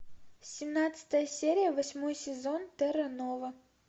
семнадцатая серия восьмой сезон терра нова